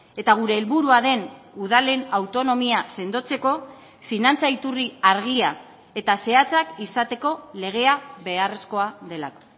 eta gure helburua den udalen autonomia sendotzeko finantza iturri argia eta zehatzak izateko legea beharrezkoa delako